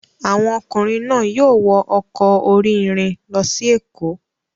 Àwọn ọkùnrin náà yóò wọ ọkọ̀ orí-irin lọ sí Èkó.